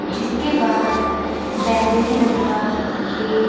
जिसके बाहर बैंगनी रंग का एक--